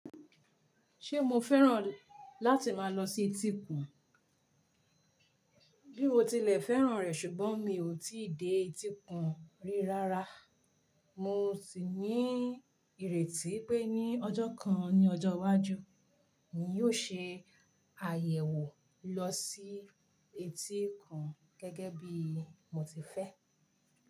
Ṣé mo fẹ́ràn láti máa lọ sí etíkun? Bí mo tilẹ̀ fẹ́ràn rẹ̀ ṣùgbọ́n mi ò tí dé etíkun rí rárá. Mo sì ní ìrètí pé ní ọjọ́ kan ní ọjọ́ iwájú, mi yóò ṣe àyẹ̀wò lọ sí etíkun gẹ́gẹ́ bí mo ti fẹ́.